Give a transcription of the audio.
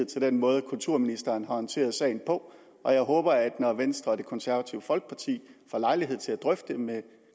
til den måde kulturministeren har håndteret sagen på og jeg håber at når venstre og det konservative folkeparti får lejlighed til at drøfte det med